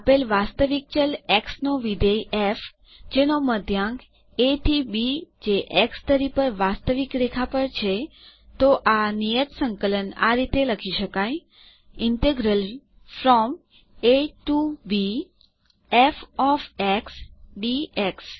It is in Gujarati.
તો આપેલ વાસ્તવિક ચલ એક્સ નો વિધેય ફ જેનો મધ્યાંક એ થી બી જે એક્સ ધરી પર વાસ્તવિક રેખા પર છે તો નિયત સંકલ આ રીતે લખી શકાય a to b f of x dx